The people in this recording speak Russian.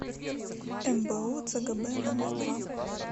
мбу цгб номер два